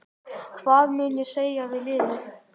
Hvað mun ég segja við liðið?